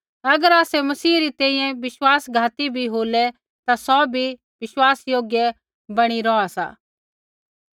अगर आसै मसीह री तैंईंयैं विश्वासघाती भी होलै ता सौ विश्वासयोग्य बणी रौहा सा किबैकि सौ आपु आपणा नाँह नी केरी सकदा